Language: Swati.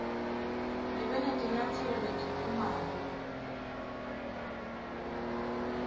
ngibe netinyatselo letiphumako